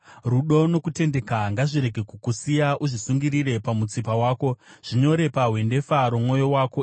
Rudo nokutendeka ngazvirege kukusiya; uzvisungirire pamutsipa wako, zvinyore pahwendefa romwoyo wako.